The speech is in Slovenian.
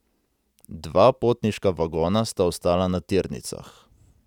Dva potniška vagona sta ostala na tirnicah.